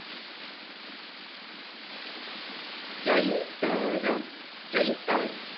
ચૈ ત ર ચૈતર